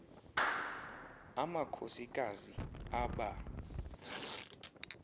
amakhosi kazi aba